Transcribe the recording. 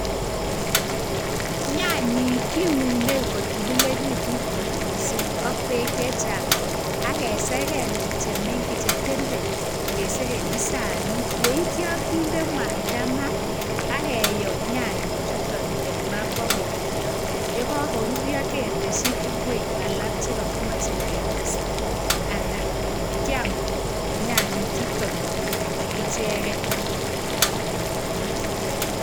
Nyanyik kiuneikiunei kotililekitu kot mising ak bek chechang ak keseken chetenten, kesekenchi sanit. Yeityo kinde mwaita ma keyo nyanyi chutok en ma boko ruryo. Yekakoruryo ketesta tukuk alak che kakimachei ketesta, anan kiam nyanyi chuton icheken.